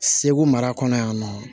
Segu mara kɔnɔ yan nɔ